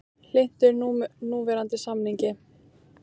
Hlynntur núverandi samningi